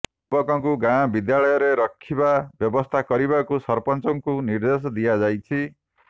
ଯୁବକଙ୍କୁ ଗାଁ ବିଦ୍ୟାଳୟରେ ରଖିବା ବ୍ୟବସ୍ଥା କରିବାକୁ ସରପଞ୍ଚଙ୍କୁ ନିର୍ଦେଶ ଦିଆଯାଇଛି